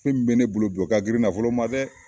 Fɛn mun be ne bolo bi , o ka girin nafolo ma dɛ!